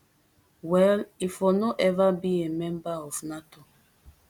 well e for no ever be a member of nato